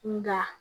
Nka